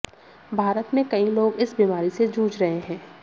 भारत में कई लोग इस बीमारी से जूझ रहे हैं